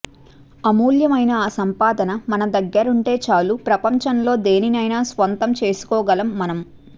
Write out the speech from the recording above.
అమూల్యమైన ఆ సంపద మన దగ్గరుంటే చాలు ప్రపంచంలో దేనినైనా స్వంతం చేసుకోగలం మనం